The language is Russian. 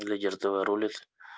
лидерство рулит